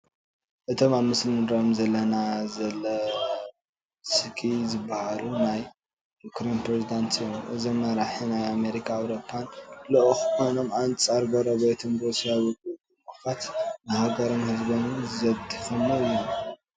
እቶም ኣብ ምስሊ ንሪኦም ዘለና ዘለንስኪ ዝበሃሉ ናይ ዩክሬን ፕሬዝዳንት እዮም፡፡ እዞም መራሒ ናይ ኣሜሪካን ኣውሮፓን ልኡኽ ኮይኖም ኣንፃር ጎረቤቶም ሩስያ ውግእ ብምኽፋት ንሃገሮምን ህዝቦምድ ዘድከሙ እዮም፡፡